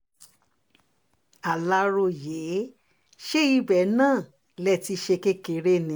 aláròye ṣé ibẹ̀ náà lè ti ṣe kékeré ni